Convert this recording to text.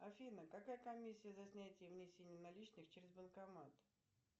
афина какая комиссия за снятие внесение наличных через банкомат